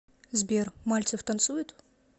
сбер мальцев танцует